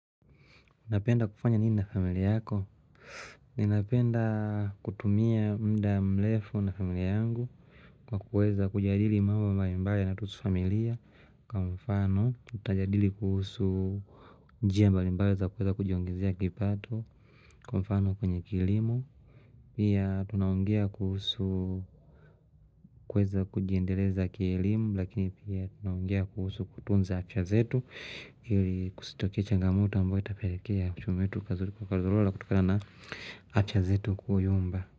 Unapenda kufanya nini na familia yako? Ninapenda kutumia muda mrefu na familia yangu Kwa kuweza kujadili mambo mbali mbali yanatuhusu familia Kwa mfano, tutajadili kuhusu njia mbali mbali za kuweza kujiongezea kipato Kwa mfano kwenye kilimo Pia tunaongea kuhusu kuweza kujiendeleza kielimu, lakini pia tunaongea kuhusu kutunza afya zetu ili kusitokee changamoto ambayo itapelekea uchumi wetu ukazorora kutokana na afya zetu kuyumba.